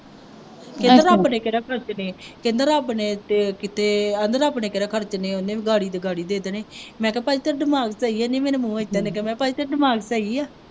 ਕਹਿੰਦਾ ਰੱਬ ਨੇ ਕਿਹੜਾ ਖਰਚਣੇ ਹੈ, ਕਹਿੰਦਾ ਰੱਬ ਨੇ ਤੇ ਕਿਤੇ ਕਹਿੰਦਾ ਰੱਬ ਨੇ ਕਿਹੜਾ ਖਰਚਣੇ ਹੈ, ਉਹ ਵੀ ਅਗਾੜੀ ਤਿਗਾੜੀ ਦੇ ਦੇਣੇ, ਮੈ ਂਕਿਹਾ ਭਾਈ ਤੇਰਾ ਦਿਮਾਗ ਸਹੀ ਹੈ, ਹੇ ਮੇਰੇ ਮੂੰਹ ਏਦਾਂ ਲੱਗਿਆ ਮੈਂ ਕਿਹਾ ਭਾਈ ਤੇਰਾ ਦਿਮਾਗ ਸਹੀ ਹੈ